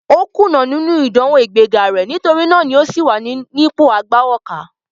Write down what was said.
Ó kùnà nínú ìdánwò ìgbé ga rẹ̀, nítorí náà o sì wà ní ipò agbawókà.